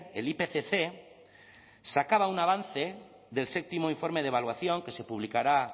el ipcc sacaba un avance del séptimo informe de evaluación que se publicará